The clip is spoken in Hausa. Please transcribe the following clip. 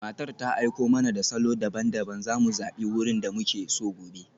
Matar ta aiko mana da salo daban-daban, za mu zabi wurin da muke so gobe.